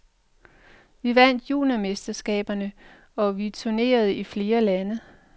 Vi vandt juniormesterskaberne og vi turnerede i flere lande.